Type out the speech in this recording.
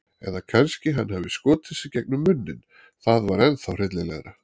Eða kannski hann hafi skotið sig gegnum munninn- það var ennþá hryllilegra.